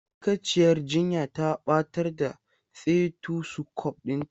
Ma'aikaciyar jinya ta batar da stetosukop ɗinta.